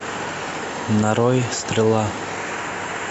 нарой стрела